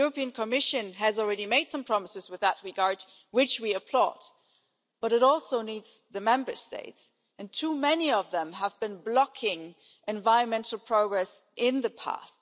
The European Commission has already made some promises in that regard, which we applaud, but it also needs the Member States and too many of them have been blocking environmental progress in the past.